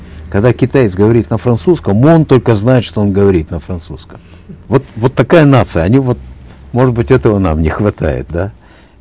когда китаец говорит на французском он только знает что он говорит на французском вот вот такая нация они вот может быть этого нам не хватает да